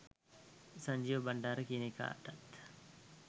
සංජීව බංඩාර කියන එකාටත්